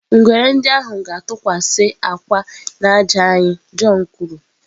Ngwere ndị ahụ ga-atụkwasị akwa n'ájá anyị, john kwuru.